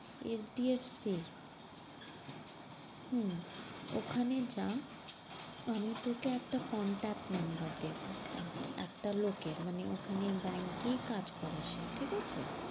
HDFC এর, হম ওখানে যা। আমি তোকে একটা contact number দেব একটা লোকের মানে ওখানে bank এই কাজ করে সে, ঠিক আছে?